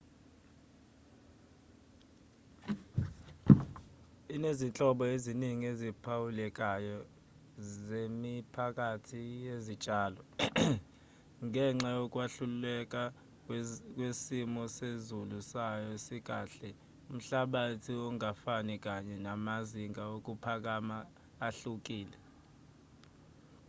inezinhlobo eziningi eziphawulekayo zemiphakathi yezitshalo ngenxa yokwahluka kwesimo sezilu sayo esikahle umhlabathi ongafani kanye namazinga okuphakama ahlukile